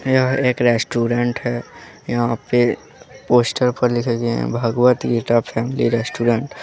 यह एक रेस्टोरेंट है यहां पे पोस्टर पर लिखा गया है भागवत गीता फैमिली रेस्टोरेंट ।